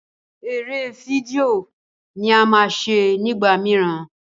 eré fídíò ní a má ṣe nigbamiran.